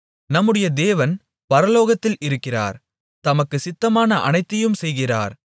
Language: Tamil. நம்முடைய தேவன் பரலோகத்தில் இருக்கிறார் தமக்குச் சித்தமான அனைத்தையும் செய்கிறார்